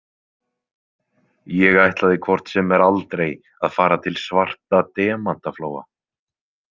Ég ætlaði hvort sem er aldrei að fara til Svarta demantaflóa.